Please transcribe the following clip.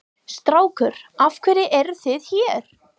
Strákar af hverju eruð þið hér?